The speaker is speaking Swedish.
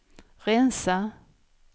rensa